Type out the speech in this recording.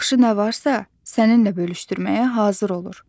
Yaxşı nə varsa, səninlə bölüşdürməyə hazır olur.